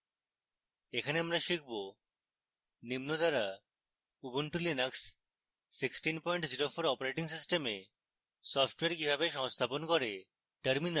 এখানে আমরা শিখব নিম্ন দ্বারা ubuntu linux 1604 operating system software কিভাবে সংস্থাপন করে